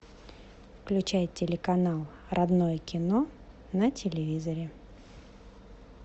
включай телеканал родное кино на телевизоре